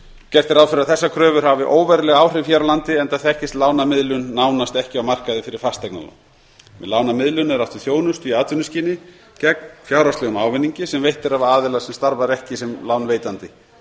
gert er ráð fyrir að þessar kröfur hafi óveruleg áhrif hér á landi enda þekkist lánamiðlun nánast ekki á markaði fyrir fasteignalán með lánamiðlun er átt við þjónustu í atvinnuskyni gegn fjárhagslegum ávinningi sem veitt er af aðila sem starfar ekki sem lánveitandi